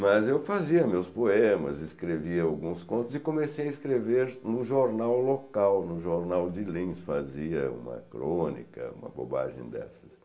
Mas eu fazia meus poemas, escrevia alguns contos e comecei a escrever no jornal local, no jornal de Lins, fazia uma crônica, uma bobagem dessas.